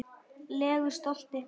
legu stolti.